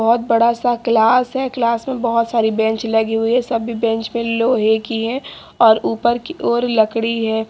बहुत बड़ा सा क्लास है। क्लास में बहुत सारी बैंच लगी हुई हैं। सब भी बैंच लोहे की है और ऊपर की ओर लकड़ी है।